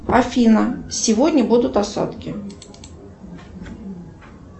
афина сегодня будут осадки